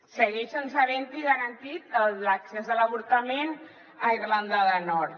segueix sense haver hi garantit l’accés a l’avortament a irlanda del nord